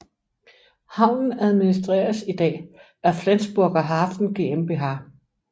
Havnen administreres i dag af Flensburger Hafen GmbH